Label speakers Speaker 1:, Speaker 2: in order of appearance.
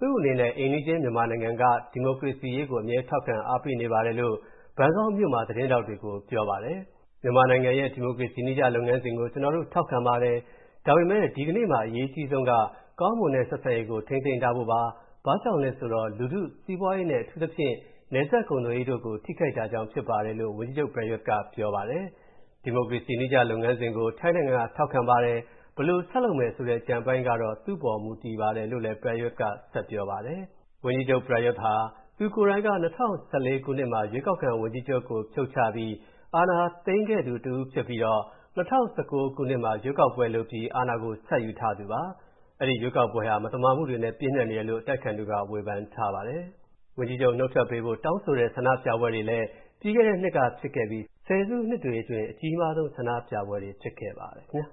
Speaker 1: သူ့အနေနဲ့ အိမ်နီးချင်း မြန်မာနိုင်ငံရဲ့ ဒီမိုကရေစီရေးကို အမြဲ ထောက်ခံ အားပေးပါတယ်လို့ ဘန်ကောက်မြို့မှာ သတင်းထောက်တွေကိုပြောပါတယ်။ "မြန်မာနိုင်ငံရဲ့ ဒီမိုကရေစီနည်းကျ လုပ်ငန်းစဉ်ကို ကျနော်တို့ ထောက်ခံပါတယ်။ ဒါပေမဲ့ ဒီကနေ့မှာ အရေးအကြီးဆုံးက ကောင်းမွန်တဲ့ဆက်ဆံရေးကို ထိန်းသိမ်းထားဖို့ပါ၊ ဘာကြောင့်လဲဆိုတော့ လူထု၊ စီးပွားရေးနဲ့ အထူးသဖြင့် နယ်စပ်ကုန်သွယ်ရေးတို့ကို ထိခိုက်တာကြောင့်ဖြစ်ပါတယ်။" လို့ ဝန်ကြီးချုပ် ပရာယုသ်ကပြောပါတယ်။ "ဒီမိုကရေစီနည်းကျ လုပ်ငန်းစဉ်ကို ထိုင်းနိုင်ငံက ထောက်ခံပါတယ်။ ဘယ်လို ဆက်လုပ်မယ်ဆိုတဲ့ ကျန်တဲ့အပိုင်းကတော့ သူ့ပေါ်မူတည်ပါတယ်။" လို့လည်း ပရာယုသ်ကဆိုပါတယ်။ ဝန်ကြီးချုပ် ပရာယုသ်ဟာ သူကိုယ်တိုင်က ၂၀၁၄ ခုနှစ်မှာ ရွေးကောက်ခံဝန်ကြီးချုပ်ကို ဖြုတ်ချပြီး အာဏာသိမ်းခဲ့သူဖြစ်ပြီးတော့ ၂၀၁၉ ခုနှစ်မှာ ရွေးကောက်ပွဲလုပ်ပြီး အာဏာဆက်ယူထားသူပါ။ အဲဒီရွေးကောက်ပွဲဟာ မသမာမှုတွေနဲ့ ပြည့်နှက်နေတယ်လို့ အတိုက်အခံတွေက ဝေဖန်ထားပါတယ်။ ဝန်ကြီးချုပ် နုတ်ထွက်ပေးဖို့ တောင်းဆိုတဲ့ဆန္ဒပြပွဲတွေလည်း ပြီးခဲ့တဲ့နှစ်ကဖြစ်ခဲ့ပြီး ဆယ်စုနှစ်တွေအတွင်း အကြီးမားဆုံး ဆန္ဒပြပွဲတွေဖြစ်ခဲ့ပါတယ်။ မြန်မာနဲ့